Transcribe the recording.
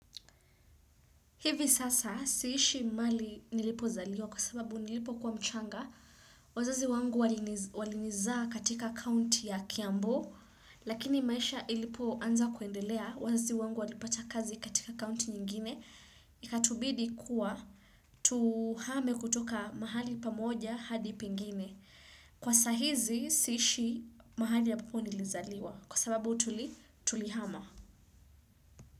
Hivi sasa, siishi mahali nilipozaliwa kwa sababu nilipo kuwa mchanga, wazazi wangu walinizaa katika kaunti ya kiambu, Lakini maisha ilipoanza kuendelea wazazi wangu walipata kazi katika kaunti nyingine, ikatubidi kuwa. Tuhame kutoka mahali pamoja hadi pingine. Kwa saa hizi siishi mahali ambapo nilizaliwa kwa sababu tulihama.